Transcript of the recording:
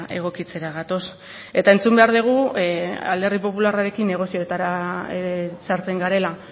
egokitzera gatoz eta entzun behar dugu alderdi popularrarekin negozioetara sartzen garela